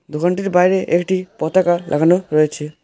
দোকানটির বাইরে একটি পতাকা লাগানো রয়েছে।